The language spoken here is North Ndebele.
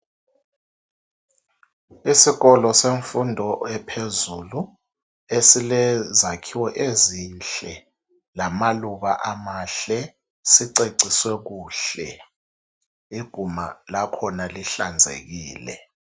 isikolo semfundo ephezulu esile zakhiwo ezinhle lamaluba amahle siceciswe kuhle iguma lakhona lihlanzekile